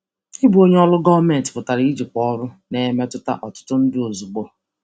Ịbụ onye ọrụ gọọmentị pụtara ijikwa ọrụ na-emetụta ọtụtụ ndụ ozugbo.